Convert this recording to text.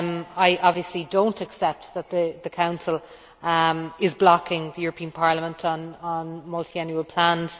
I obviously do not accept that the Council is blocking the European Parliament on multiannual plans.